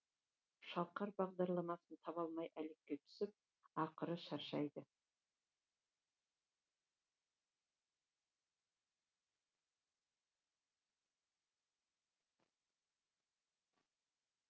шалқар бағдарламасын таба алмай әлекке түсіп ақыры шаршайды